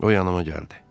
O yanıma gəldi.